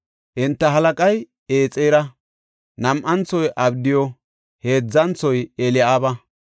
Enta halaqay Exera; nam7anthoy abdiyu; heedzanthoy Eli7aaba;